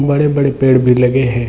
बड़े-बड़े पेड़ भी लगे है।